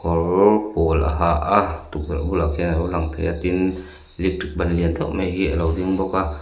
kawr pawl a ha a tukverh bulah khian a lo lang thei a tin electric ban lian deuh mai hi a lo ding bawk a.